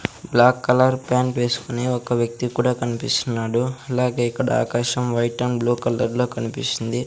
Black colour pant వేస్కొని ఒక వ్యక్తి కూడా కన్పిస్తున్నాడు అలాగే ఇక్కడ ఆకాశం వైట్ అండ్ బ్లూ కలర్ లో కనిపిస్తుంది.